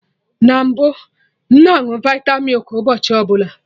Na mbụ, m na añụ vita milk ụbọchị ọbụla